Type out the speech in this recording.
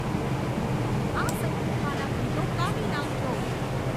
આ સંગીતમાંના ગીતો કાપી નાંખજો